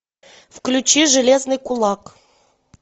включи железный кулак